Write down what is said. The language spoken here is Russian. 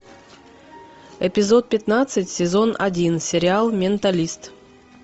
эпизод пятнадцать сезон один сериал менталист